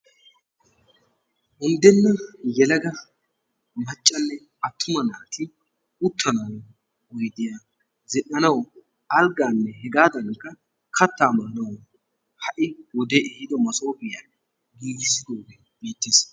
Unddnna maccanne attuma naati uttanawu oydiya zin"anawu alggaanne hegaadankka kattaa masoofiya ha"i wodee ehiido masoofiya giigissidoogee beettees.